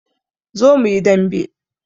Zo muyi dambe